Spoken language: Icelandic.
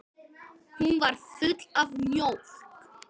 Hún var full af mjólk!